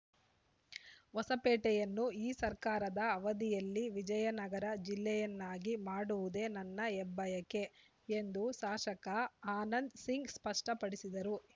ಹೊಸಪೇಟೆಯನ್ನು ಈ ಸರ್ಕಾರದ ಅವಧಿಯಲ್ಲಿ ವಿಜಯನಗರ ಜಿಲ್ಲೆಯನ್ನಾಗಿ ಮಾಡುವುದೇ ನನ್ನ ಹೆಬ್ಬಯಕೆ ಎಂದು ಶಾಸಕ ಆನಂದ್‌ ಸಿಂಗ್‌ ಸ್ಪಷ್ಟಪಡಿಸಿದರು